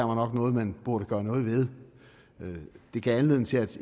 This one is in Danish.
var noget man burde gøre noget ved det gav anledning til at